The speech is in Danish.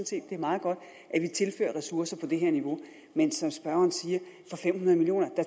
set det er meget godt at vi tilfører ressourcer på det her niveau men som spørgeren siger